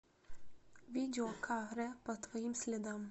видео ка рэ по твоим следам